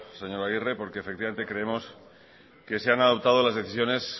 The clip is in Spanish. señor aguirre porque efectivamente creemos que se han adoptado las decisiones